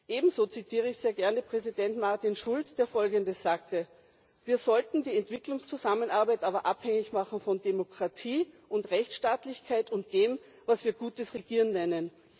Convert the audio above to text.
Ebenso zitiere ich sehr gerne Präsident Martin Schulz, der Folgendes sagte Wir sollten die Entwicklungszusammenarbeit aber abhängig machen von Demokratie und Rechtsstaatlichkeit und von dem, was wir gutes Regieren nennen.